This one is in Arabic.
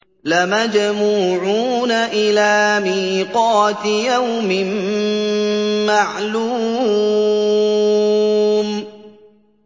لَمَجْمُوعُونَ إِلَىٰ مِيقَاتِ يَوْمٍ مَّعْلُومٍ